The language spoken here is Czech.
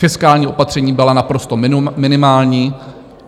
Fiskální opatření byla naprosto minimální.